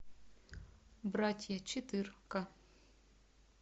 братья четырка